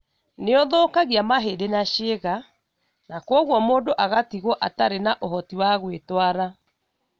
Nĩ ũthũkagia mahĩndĩ na ciĩga, na kwoguo mũndũ agatigwo atarĩ na ũhoti wa gwĩtwara.